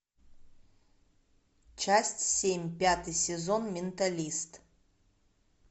часть семь пятый сезон менталист